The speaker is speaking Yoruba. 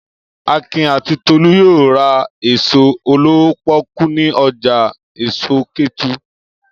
Akin àti Tolú yóò ra èso olówó pọ́kú ní ọjà èso Kétu.